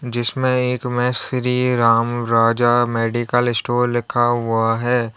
जिसमें एक में श्री राम राजा मेडिकल स्टोर लिखा हुआ है।